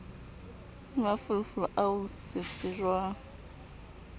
le mafolofolo ao se tsejwang